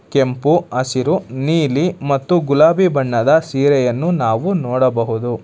ಕೆಂಪು ಹಸಿರು ನೀಲಿ ಮತ್ತು ಗುಲಾಬಿ ಬಣ್ಣದ ಸೀರೆಯನ್ನು ನಾವು ನೋಡಬಹುದು.